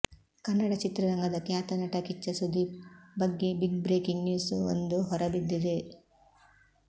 ಕನ್ನಡ ಚಿತ್ರರಂಗದ ಖ್ಯಾತ ನಟ ಕಿಚ್ಚ ಸುದೀಪ್ ಬಗ್ಗೆ ಬಿಗ್ ಬ್ರೇಕಿಂಗ್ ನ್ಯೂಸ್ ವೊಂದು ಹೊರಬಿದ್ದಿದೆ